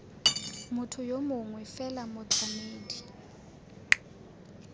motho yo mongwe fela motlamedi